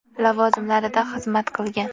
lavozimlarida xizmat qilgan.